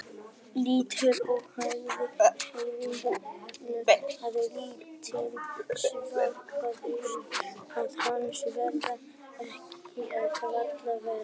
Lítil og hægfara hreyfing vekur það lítinn svigkraft að hans verður ekki eða varla vart.